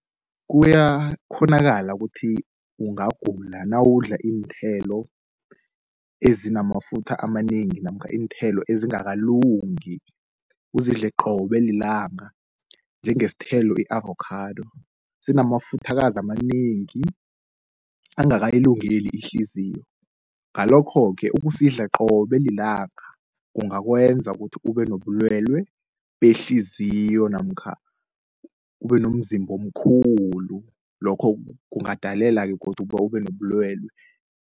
Kuyakhonakala ukuthi ungagula nawudla iinthelo ezinamafutha amanengi namkha iinthelo ezingakalungi. Uzidle qobe lilanga njengesithelo i-avokhado sinamafuthakazi amanengi angakayilungeli ihliziyo. Ngalokho-ke ukusidla qobe lilanga kungakwenza ukuthi ube nobulwelwe behliziyo namkha ube nomzimba omkhulu lokho kungadalela-ke godu ukuba ube nobulwele.